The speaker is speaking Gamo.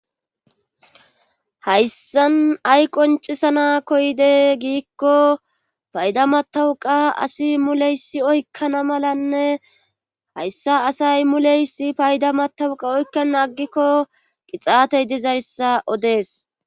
hayssan ay qoncisana koyde giikko payda matawuqa asi muleysi oykkana malanne hayssa asay muleysi payda matawuqa oykka naggikko qixaatey dizayssa odees